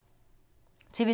TV 2